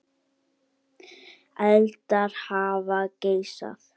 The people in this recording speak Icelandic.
Eldar hafa geisað